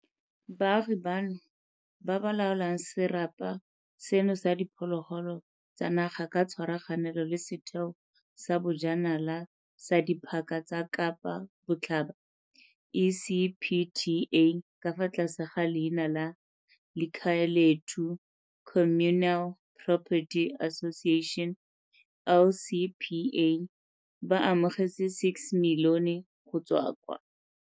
Baagi bano, ba ba laolang serapa seno so diphologolo tsa naga ka tshwaraganelo le Setheo sa Bojanala sa Diphaka tse kapa Botlhaba, ECPTA, ka fa tlase ga leina la Likhayelethu Communal Property Association, LCPA, ba amogetse R6 milione go tswa kwa.